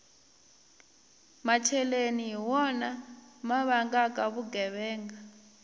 macheleni hi wona ma vangaka vugevenga